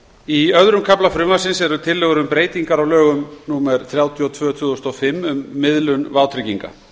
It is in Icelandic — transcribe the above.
í öðrum kafla frumvarpsins eru tillögur um breytingar á lögum númer þrjátíu og tvö tvö þúsund og fimm um miðlun vátrygginga